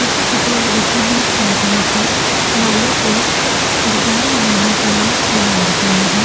छोटे-छोटे रिबन और चिमटियों से बालों को डिजाइन बनाने के लिए तैयार किया है।